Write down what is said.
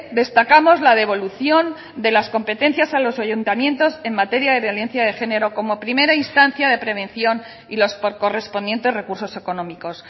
destacamos la devolución de las competencias a los ayuntamientos en materia de violencia de género como primera instancia de prevención y los correspondientes recursos económicos